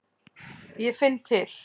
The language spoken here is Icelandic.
Ég finn til.